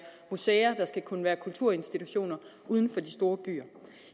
museer at der også skal kunne være kulturinstitutioner uden for de store byer